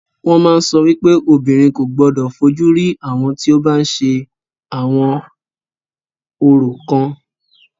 Wọ́n máa ń sọ wípé obìnrin kò gbodò fojú rí àwọn tí o bá ń ṣe àwọn orò kan.